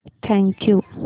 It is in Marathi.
thank you